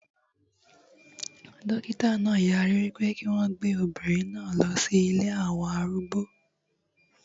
Dókítà náà yarí wípé kí wọn gbé obìnrin náà lọ sí ilée àwọn arúgbó